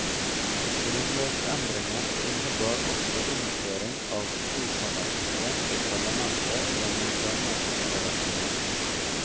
Grunnlovsendringen innebar også innføring av tokammersystem i parlamentet gjennom dannelsen av et senat.